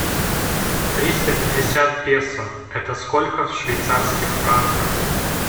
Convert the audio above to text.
триста пятьдесят песо это сколько в швейцарских франках